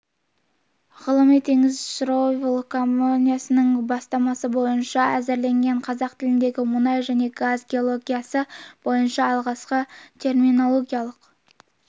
ғалым теңізшевройл компаниясының бастамасы бойынша әзірленген қазақ тіліндегі мұнай және газ геологиясы бойынша алғашқы терминологиялық